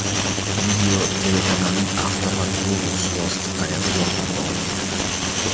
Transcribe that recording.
Video telekanalning avtomat-robot suvosti qayig‘i yordamida olingan.